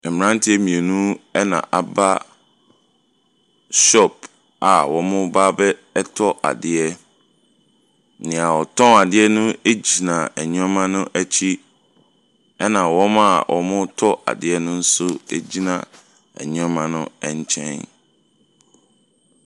Mmeranteɛ mmienu na wɔaba shop a wɔreba abɛtɔ adeɛ. Nea ɔtɔn adeɛ no gyina nneɛma no akyi, ɛnna wɔn a wɔretɔ adeɛ no nso gyina nneɛma no nkyɛn.